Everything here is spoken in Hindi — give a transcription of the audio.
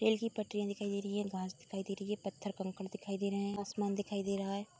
रेल की पट्टरिया दिखाई दे रही है घास दिखाई दे रही है पत्थर कंकड़ दिखाई दे रहा है आसमान दिखाई दे रहा है।